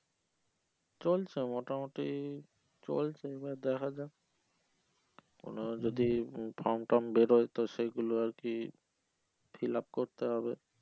চলছে মোটামুটি চলছে এবার দেখা যাক কোনো যদি form টার্ম বেরোয় তো সেগুলো আর কি fill up করতে হবে